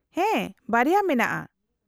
-ᱦᱮᱸ ᱵᱟᱨᱭᱟ ᱢᱮᱱᱟᱜᱼᱟ ᱾